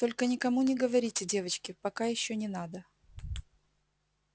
только никому не говорите девочки пока ещё не надо